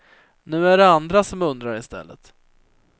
Nu är det andra som undrar i stället.